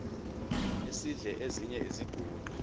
esidl eziny iziguqa